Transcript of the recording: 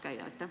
Suur tänu!